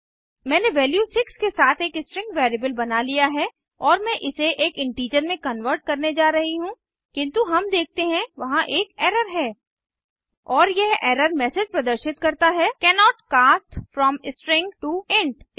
मैंने वैल्यू 6 के साथ एक स्ट्रिंग वैरिएबल बना लिया है और मैं इसे एक इंटीजर में कन्वर्ट करने जा रही हूँ किन्तु हम देखते हैं वहां एक एरर है और यह एरर मैसेज प्रदर्शित करता है cannot cast from string to int